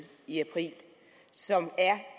i april som